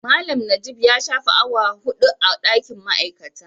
Malam najib ya shafe awa 4 a dakin ma'aikata.